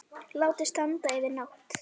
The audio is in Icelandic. Látið standa yfir nótt.